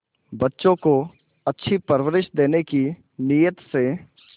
बच्चों को अच्छी परवरिश देने की नीयत से